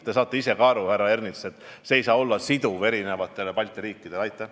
Te saate ise ka aru, härra Ernits, et see ei saa olla erinevatele Balti riikidele siduv.